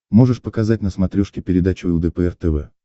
можешь показать на смотрешке передачу лдпр тв